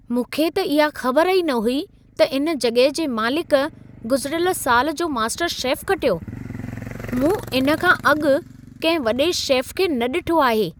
मूंखे त इहा ख़बर ई न हुई त इन जॻहि जे मालीक गुज़िरियल साल जो मास्टर शेफ़ खटियो! मूं इन्हे खां अॻु, कंहिं वॾे शेफ़ खे न ॾिठो आहे।